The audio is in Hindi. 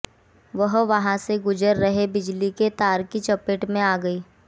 वह वहां से गुजर रहे बिजली के तार की चपेट में आ गई